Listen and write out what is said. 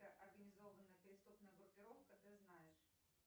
организованная преступная группировка ты знаешь